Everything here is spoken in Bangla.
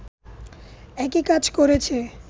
একই কাজ করেছে